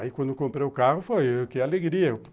Aí, quando eu comprei o carro, foi o quê? alegria.